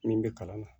Min bɛ kalan na